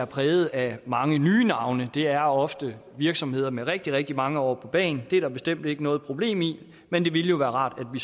præget af mange nye navne det er ofte virksomheder med rigtig rigtig mange år på bagen det er der bestemt ikke noget problem i men det ville være rart at